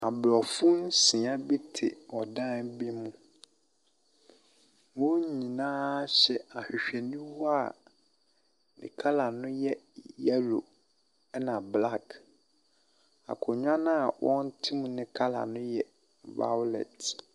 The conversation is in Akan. Abrɔfo nsia bi te ɔdan bi mu. Wɔn nynaa hyɛ ahwehwɛniwa a ne kala no yɛ yellow na black. Akonnwa a wɔte mu no kala o yɛ vawlɛt.